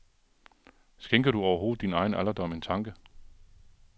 Skænker du overhovedet din egen alderdom en tanke?